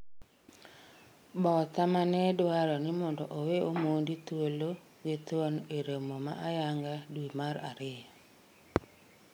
Botha mane dwaro ni mondo owe Omondi thuolo githuon e romo ma ayanga dwe mar ariyo